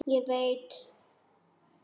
Ég veit.